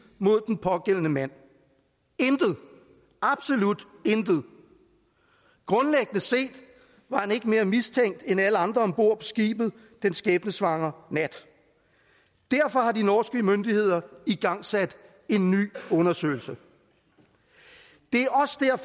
mod den pågældende mand intet absolut intet grundlæggende set var han ikke mere mistænkt end alle andre om bord på skibet den skæbnesvangre nat derfor har de norske myndigheder igangsat en ny undersøgelse det